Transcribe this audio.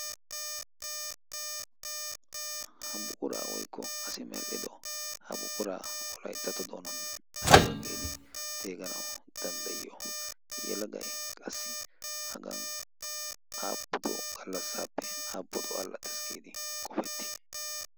ha buquraa woykko asi medhido ha buquraa o laixxato doonan aibaggeedi xeeganau danddayiyo yelagai qassi hagan aapudo gallassaappe aapudo allaxes giidi qopetti?